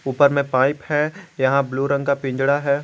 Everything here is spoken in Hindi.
ऊपर में पाइप है यहां ब्लू रंग का पिंजड़ा है।